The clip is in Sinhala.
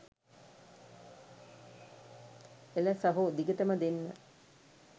එල සහෝ දිගටම දෙන්න